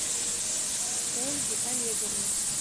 ольге олеговне